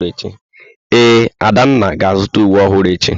Ee, Adanna ga-azụta uwe ọhụrụ echi.